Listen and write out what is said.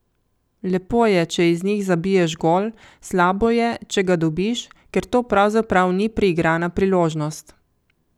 Lepo je, če iz njih zabiješ gol, slabo je, če ga dobiš, ker to pravzaprav ni priigrana priložnost.